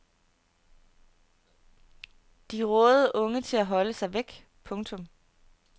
De rådede unge til at holde sig væk. punktum